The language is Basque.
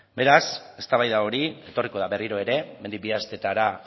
berraz eztabaida hori etorriko da berriro ere hemendik bi asteetara